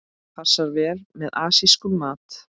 Passar vel með asískum mat.